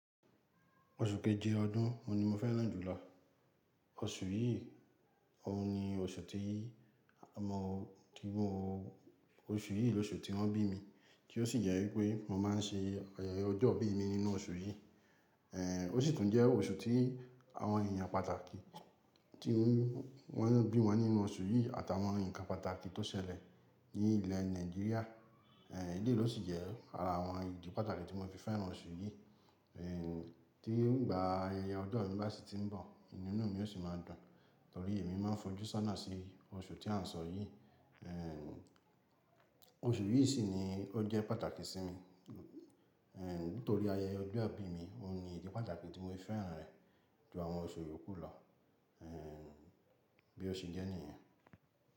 Oṣù kejì ọdún oun ni mo fẹ́ràn jùlọ. Oṣù yìí, òun ni oṣù tí i mo kí n o-- oṣù yìí ni oṣù tí wọ́n bí mi, tí ó sì jẹ́ wípé mo máa ń ṣe ayẹyẹ ọjọ́ ìbí mi nínú oṣù yìí. Ó sì tún jẹ́ oṣù tí àwọn èèyàn pàtàkì tí wọ́n bí wọn nínú oṣù yìí àtàwọn nǹkan pàtàkì tó ṣẹlẹ̀ ní ilẹ̀ Nàìjíríà, eléyìí ló sì jẹ́ ara àwọn ìdí pàtàkì tí mo fi fẹ́ràn oṣù yìí. Tí ìgbà ayẹyẹ ọjọ́ mi bá si ti ń bọ̀, inú mi yóò sì máa dùn, torí èmi máa ń f'ojú sọ́nà sí oṣù tí à ń sọ yìí. Oṣù yìí sì ni ó jẹ́ pàtàkì sí mi, nítorí ayẹyẹ ọjọ́ ìbí mi, òun ni ìdí pàtàkì tí mo fi fẹ́ràn rẹ̀ ju àwọn oṣù yókù lọ. Bí ó ṣe jẹ́ nìyẹn.